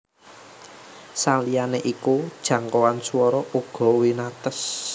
Saliyané iku jangkauan swara uga winates